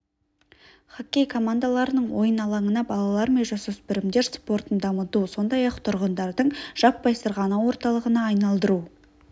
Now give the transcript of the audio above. хоккей командаларының ойын алаңына балалар мен жасөспірімдер спортын дамыту сондай-ақ тұрғындардың жаппай сырғанау орталығына айналдыру